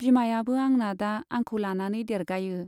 बिमायाबो आंना दा आंखौ लानानै देरगायो।